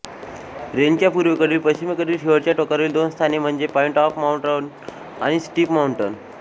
रेंजच्या पूर्वेकडील पश्चिमेकडील शेवटच्या टोकावरील दोन स्थाने म्हणजे पॉइंट ऑफ माउंटन आणि स्टीप माउंटन